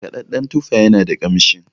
markadadden tufa yana da kanshin